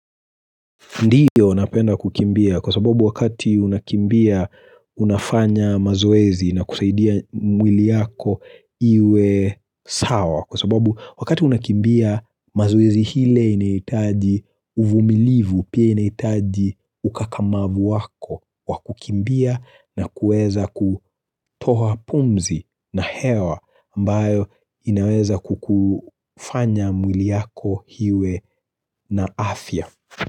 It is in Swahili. Ndiyo napenda kukimbia kwa sababu wakati unakimbia unafanya mazoezi na kusaidia mwili yako iwe sawa kwa sababu wakati unakimbia mazoezi ile inahitaji uvumilivu pia inahitaji ukakamavu wako wa kukimbia na kuweza kutoa pumzi na hewa ambayo inaweza kukufanya mwili yako iwe na afya.